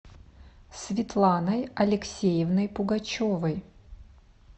светланой алексеевной пугачевой